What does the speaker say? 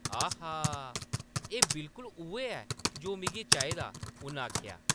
आहा ! एह्‌‌ बिल्कुल उʼऐ ऐ जो मिगी चाहिदा, ”उन आखेआ ।